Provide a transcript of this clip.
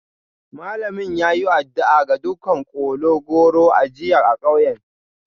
Malamin ya yi addu'a ga dukkan kola-goro a jiya a kauyen.